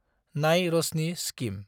नाय रशनि स्किम